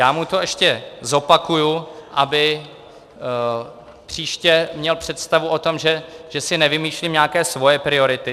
Já mu to ještě zopakuji, aby příště měl představu o tom, že si nevymýšlím nějaké svoje priority.